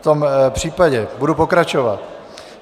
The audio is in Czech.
V tom případě budu pokračovat.